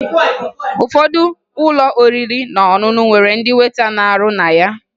Ụfọdụ ụlọ oriri na ọṅụṅụ nwere ndị weta na-arụ na ya